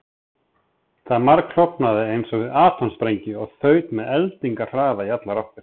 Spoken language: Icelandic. Það margklofnaði eins og við atómsprengingu og þaut með eldingarhraða í allar áttir.